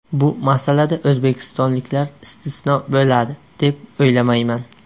Bu masalada o‘zbekistonliklar istisno bo‘ladi, deb o‘ylamayman.